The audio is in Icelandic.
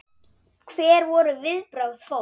Hver voru viðbrögð fólks?